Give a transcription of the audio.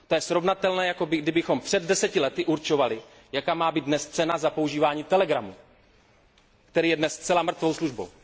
To je srovnatelné, jako kdybychom před deseti lety určovali, jaká má být dnes cena za používání telegramu, který je dnes zcela mrtvou službou.